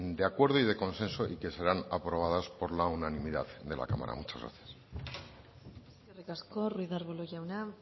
de acuerdo y de consenso y que serán aprobadas por las unanimidad de la cámara muchas gracias eskerrik asko ruíz de arbulo jauna